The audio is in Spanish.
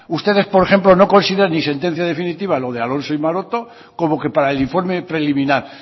ustedes por ejemplo no consideran ni sentencia definitiva lo de alonso y maroto como que para el informe preliminar